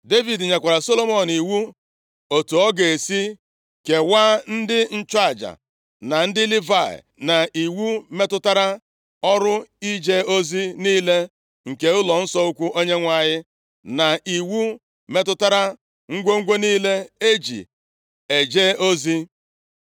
Devid nyekwara Solomọn iwu otu ọ ga-esi kewaa ndị nchụaja na ndị Livayị, na iwu metụtara ọrụ ije ozi niile nke ụlọnsọ ukwu Onyenwe anyị, na iwu metụtara ngwongwo niile e ji eje ozi.